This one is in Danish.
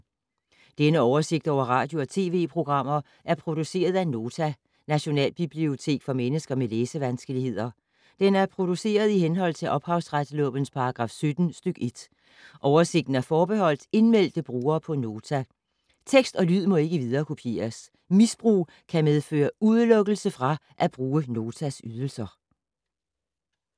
Denne oversigt over radio og TV-programmer er produceret af Nota, Nationalbibliotek for mennesker med læsevanskeligheder. Den er produceret i henhold til ophavsretslovens paragraf 17 stk. 1. Oversigten er forbeholdt indmeldte brugere på Nota. Tekst og lyd må ikke viderekopieres. Misbrug kan medføre udelukkelse fra at bruge Notas ydelser.